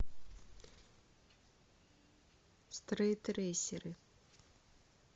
стритрейсеры